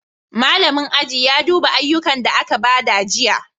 Malamin aji ya duba ayyukan da aka ba jiya.